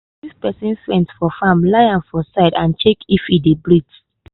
if person faint for farm lie am for side and check if e dey breathe.